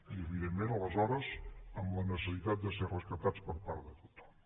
i evidentment aleshores amb la necessitat de ser rescatats per part de tothom